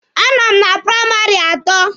A nọ m praịmarị atọ.